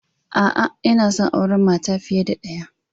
A'a, yana son auren mata fiye da ɗaya.